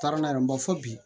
Taara n'a ye n b'a fɔ bi